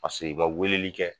Paseke i man weleli kɛ.